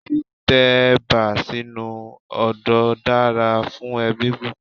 Tí tẹ̀bà sínu odó dára fún ẹbí púpọ̀.